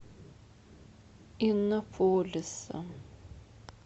иннополиса